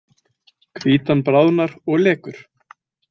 Hvítan bráðnar og lekur.